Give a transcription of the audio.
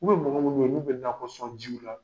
mɔgɔ munnu be ye n'u be nakɔsɔn jiw la